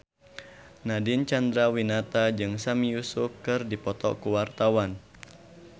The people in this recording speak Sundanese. Nadine Chandrawinata jeung Sami Yusuf keur dipoto ku wartawan